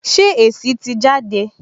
Ṣé èsì tì jáde?